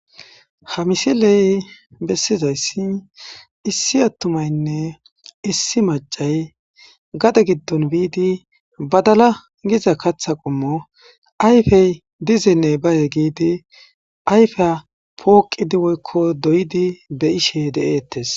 ha misiley bessizayssi issi attumaynne issi macay gade giddon biidi badala giza katha qommo ayfey dizenne baye giidi ayfeya pooqidi woykko doyidi be ishe de7eettes